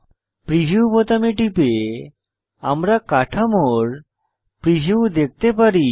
preview বোতামে টিপে আমরা কাঠামোর প্রিভিউ দেখতে পারি